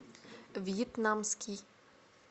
вьетнамский